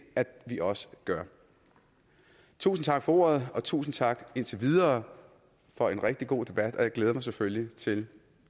at vi også gør tusind tak for ordet og tusind tak indtil videre for en rigtig god debat og jeg glæder mig selvfølgelig til